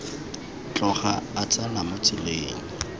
tloga a tsena mo tseleng